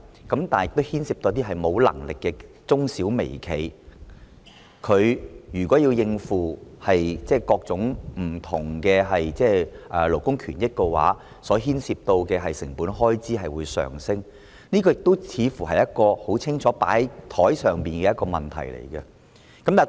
但有關安排亦牽涉一些沒有能力的中小微企，如果他們要應付各種不同的勞工權益，牽涉的成本開支將會上升，這個似乎是很清楚擺在桌面上的問題。